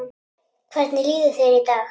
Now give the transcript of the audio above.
Hvernig líður þér í dag?